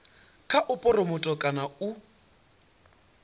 kha u phuromotha kana u